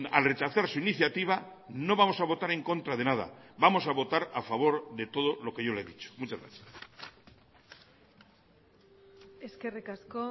al rechazar su iniciativa no vamos a votar en contra de nada vamos a votar a favor de todo lo que yo le he dicho muchas gracias eskerrik asko